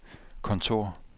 kontor